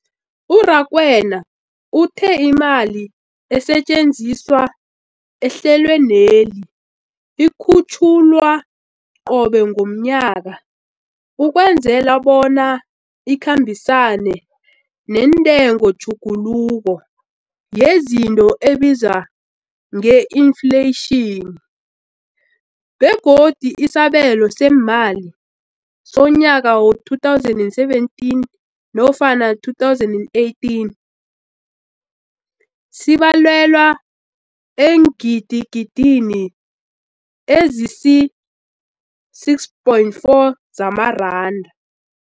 U-Rakwena uthe imali esetjenziswa ehlelweneli ikhutjhulwa qobe ngomnyaka ukwenzela bona ikhambisane nentengotjhuguluko yezinto ebizwa nge-infleyitjhini, begodu isabelo seemali somnyaka we-2017 nofana 2018 sibalelwa eengidigidini ezisi-6.4 zamaranda.